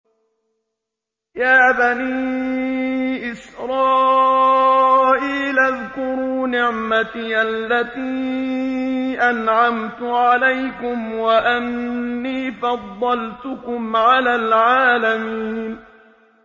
يَا بَنِي إِسْرَائِيلَ اذْكُرُوا نِعْمَتِيَ الَّتِي أَنْعَمْتُ عَلَيْكُمْ وَأَنِّي فَضَّلْتُكُمْ عَلَى الْعَالَمِينَ